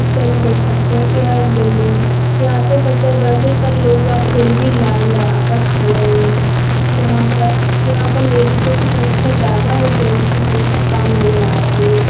Picture में देख सकते हैं यह एक बिल्डिंग है यहां पर शटर बंद है पर लोग वहां फिर भी लाइन लगाकर खड़े हुए हैं यहां पर यहां पर लेडिजो की संख्या ज्यादा और जेंट्स की संख्या कम नजर आ रही है।